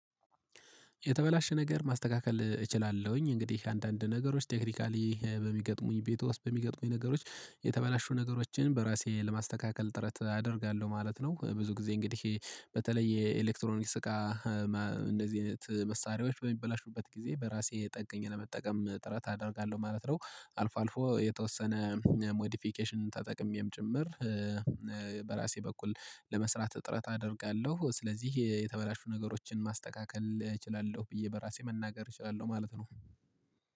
የተበላሸ ነገር ማስተካከል እችላለሁኝ እንግዲህ አንዳንድ ነገሮች ቴክኒካሊ በሚገጥሙኝ ቤት ውስጥ በሚገጥሙኝ ነገሮች የተበላሹ ነገሮችን በራሴ ለማስተካከል ጥረት አደርጋለሁ ማለት ነው። ብዙ ጊዜ እንግዲህ በተለይ የኤሌክትሮኒክስ እቃ እንደዚህ አይነት መሳሪያዎች በሚበላሹበት ጊዜ በራሴ ጠግኜ ለመጠቀም ጥረት አደርጋለሁ ማለት ነው። አልፎ አልፎ የተወሰነ ሞዲፊኬሽን ተጠቅሜም ጭምር። በራሴ በኩል ለመስራት ጥረት አደርጋለሁ። ስለዚህ የተበላሹ ነገሮችን ማስተካከል እችላለሁ ብዬ በራሴ መናገር እችላለሁ ማለት ነው